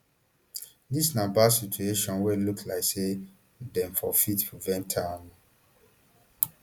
dis na bad situation wey look like say dem for fit prevent am um